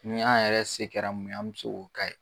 Ni an yɛrɛ se kɛra mun ye an' be se k'o k'a ye